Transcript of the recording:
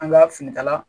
An ka finikala